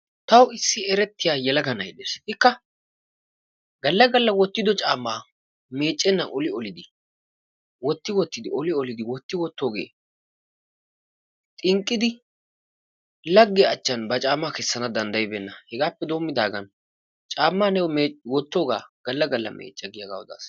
Tawu issi erettiya yelaga na'ay dees. Ikka galla galla wottido caammaa meeccennan oli olidi wotti wottoogee xinqqidi laggiya achchan ba caammaa kessana danddayibeenna. Hegaappe doommidaagan caammaa niyo wottoogaa galla galla meecca giyagaa odaas.